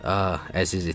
Ah, əziz itim.